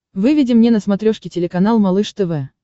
выведи мне на смотрешке телеканал малыш тв